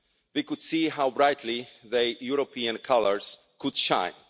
We could see how brightly the European colours could shine.